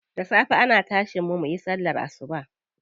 Da safe ana tashin mu muyi sallar asuba.